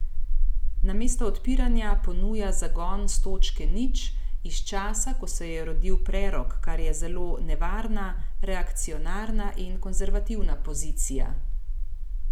Namesto odpiranja ponuja zagon s točke nič, iz časa, ko se je rodil prerok, kar je zelo nevarna, reakcionarna in konservativna pozicija.